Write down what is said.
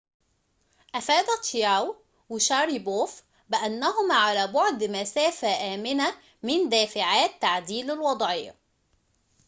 أفاد تشياو وشاريبوف بأنهما على بعد مسافةٍ آمنةٍ من دافعات تعديل الوضعية